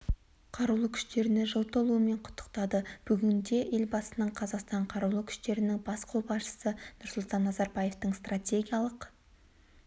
қарулы күштеріне жыл толуымен құттықтады бүгінде елбасының қазақстан қарулы күштерінің бас қолбасшысы нұрсұлтан назарбаевтың стратегиялық